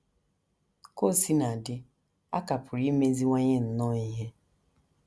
Ka o sina dị, a ka pụrụ imeziwanye nnọọ ihe. ”